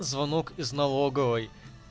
звонок из налоговой